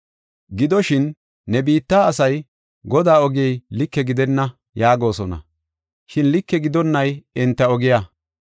“Gidoshin, ne biitta asay, ‘Godaa ogey like gidenna’ yaagosona; shin like gidonnay enta ogiya.